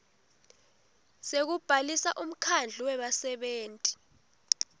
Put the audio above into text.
sekubhalisa umkhandlu webasebenti